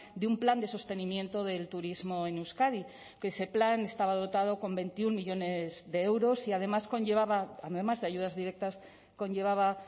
de un plan de sostenimiento del turismo en euskadi que ese plan estaba dotado con veintiuno millónes de euros y además conllevaba además de ayudas directas conllevaba